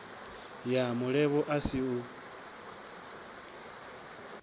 ya mulevho a si u